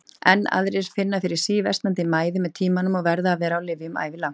Enn aðrir finna fyrir síversnandi mæði með tímanum og verða að vera á lyfjum ævilangt.